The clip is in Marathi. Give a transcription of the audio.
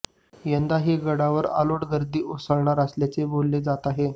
यंदाही गडावर अलोट गर्दी उसळणार असल्याचे बोलले जात आहे